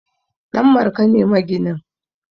Danmarka ne maginin